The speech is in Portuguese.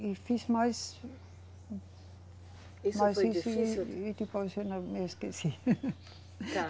E fiz mais. Isso foi difícil? Me esqueci. Tá.